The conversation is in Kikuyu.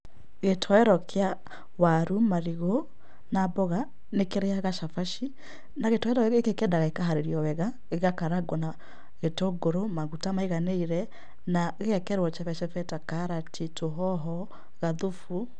Gĩtowero kĩa waru, marigũ na mboga nĩ kĩrĩaga cabaci na gĩtowero gĩkĩ kĩendaga gĩkaharirio wega gĩgakarangwo na gĩtũngũrũ maguta maiganĩire na gĩgekĩrwo cebecebe ta karati, tũhoho, gathubu